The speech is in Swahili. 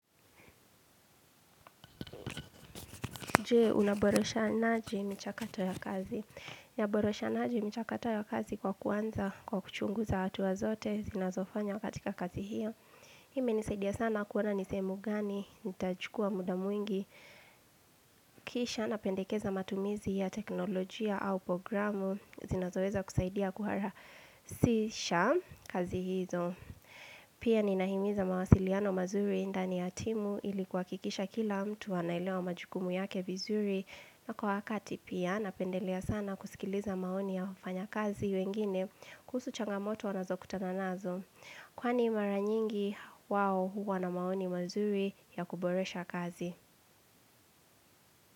Jee, unaborosha naji michakato ya kazi. Unaborosha naji michakato ya kazi kwa kuanza, kwa kuchunguza hatua zote, zinazofanywa katika kazi hiyo. Hii imenisaidia sana kuona ni sehemu gani, nitachukua muda mwingi, kisha napendekeza matumizi ya teknolojia au programu, zinazoweza kusaidia kuhara sisha kazi hizo. Pia ninahimiza mawasiliano mazuri ndani ya timu ili kuhakikisha kila mtu wanaelewa majukumu yake vizuri na kwa wakati pia napendelea sana kuskiliza maoni ya wafanya kazi wengine kuhusu changamoto wanazokutana nazo Kwani mara nyingi wao huwa na maoni mazuri ya kuboresha kazi.